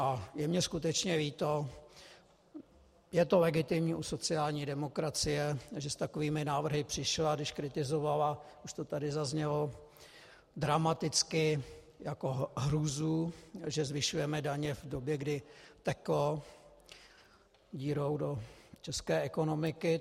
A je mi skutečně líto, je to legitimní u sociální demokracie, že s takovými návrhy přišla, když kritizovala, už to tady zaznělo, dramaticky jako hrůzu, že zvyšujeme daně v době, kdy teklo dírou do české ekonomiky.